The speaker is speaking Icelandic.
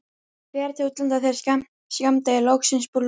Fer til útlanda þegar skammdegi er loksins lokið.